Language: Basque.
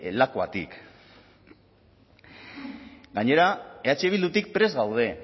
lakuatik gainera eh bildutik prest gaude